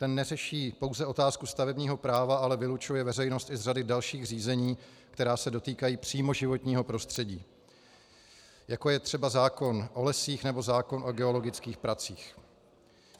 Ten neřeší pouze otázku stavebního práva, ale vylučuje veřejnost i z řady dalších řízení, která se dotýkají přímo životního prostředí, jako je třeba zákon o lesích nebo zákon o geologických pracích.